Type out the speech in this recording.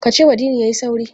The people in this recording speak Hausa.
Ka cewa Dini ya yi sauri!